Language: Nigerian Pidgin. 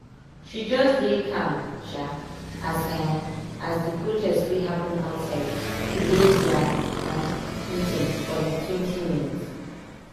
she just dey calm um as um as the protest wey happen outside delay their um meeting for liketwentyminutes